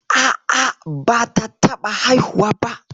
A'a, bata taɓa haihuwa ba.